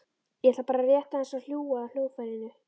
Ég ætla bara rétt aðeins að hlúa að hljóðfærinu.